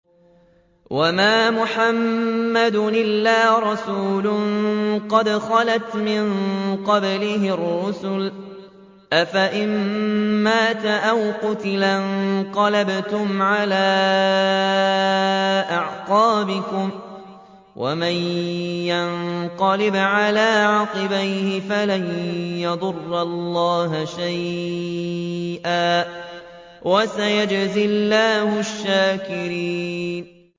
وَمَا مُحَمَّدٌ إِلَّا رَسُولٌ قَدْ خَلَتْ مِن قَبْلِهِ الرُّسُلُ ۚ أَفَإِن مَّاتَ أَوْ قُتِلَ انقَلَبْتُمْ عَلَىٰ أَعْقَابِكُمْ ۚ وَمَن يَنقَلِبْ عَلَىٰ عَقِبَيْهِ فَلَن يَضُرَّ اللَّهَ شَيْئًا ۗ وَسَيَجْزِي اللَّهُ الشَّاكِرِينَ